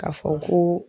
K'a fɔ ko